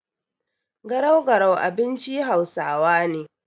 Garau-garau abinci hausawa ne.